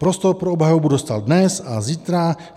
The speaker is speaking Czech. Prostor pro obhajobu dostal dnes a zítra.